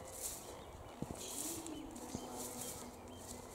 включи ее звали никита